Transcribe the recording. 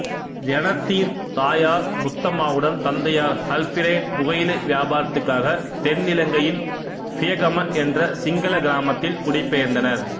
ஜெனத்தின் தாயார் முத்தம்மாவுடன் தந்தையார் அல்பிறென் புகையிலை வியாபாரத்துக்காக தென்னிலங்கையில் பியகம என்ற சிங்களக் கிராமத்தில் குடிபெயர்ந்தனர்